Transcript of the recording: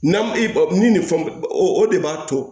N'an ba min ni fɛn o o de b'a to